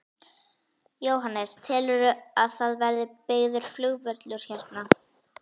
Jóhannes: Telurðu að það verði byggður flugvöllur hérna?